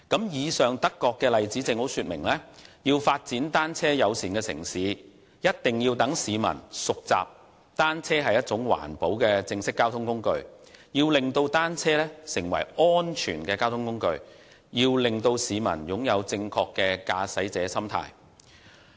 以上的德國例子正好說明，要發展單車友善城市，必須先讓市民熟習單車是一種環保的正式交通工具、令單車成為安全的交通工具，以及令市民擁有正確的駕駛者心態。